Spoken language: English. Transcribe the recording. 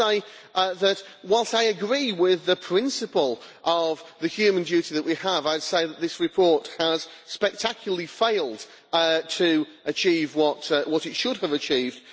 So I would say that whilst I agree with the principle of the human duty that we have, this report has spectacularly failed to achieve what it should have achieved.